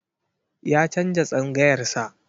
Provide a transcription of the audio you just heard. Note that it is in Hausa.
Ya canza tsangayar sa.